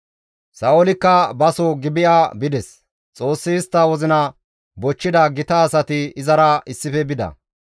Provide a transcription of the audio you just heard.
Sa7oolikka baso Gibi7a bides; Xoossi istta wozina bochchida gita asati izara issife bida.